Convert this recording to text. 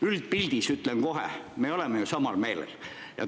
Üldpildis, ütlen kohe, me oleme ju samal meelel.